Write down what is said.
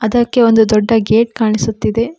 ಅದಕ್ಕೆ ಒಂದು ದೊಡ್ಡ ಗೇಟ್ ಕಾಣಿಸುತ್ತಿದೆ.